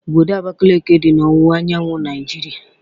Obodo Abakiliki dị n'owuwa anyanwụ Naịjiria